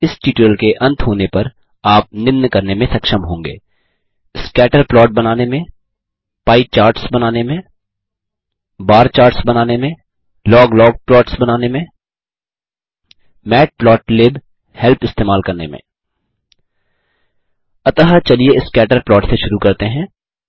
इस ट्यूटोरियल के अंत होने पर आप निम्न करने में सक्षम होंगे स्कैटर प्लॉट बनाने में पाई चार्ट्स बनाने में बार चार्ट्स बनाने में लॉग लॉग प्लॉट्स बनाने में मैटप्लोटलिब हेल्प इस्तेमाल करने में अतः चलिए स्कैटर प्लॉट से शुरू करते हैं